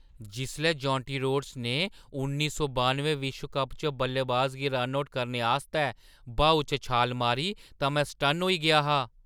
जिसलै Jonty Rhodes ने उन्नी सौ बानुएं विश्व कप च बल्लेबाज गी रन आउट करने आस्तै ब्हाऊ च छाल मारी तां में सटन्न होई गेआ हा।